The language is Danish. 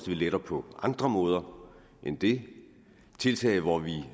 vi letter på andre måder end det tiltag hvor vi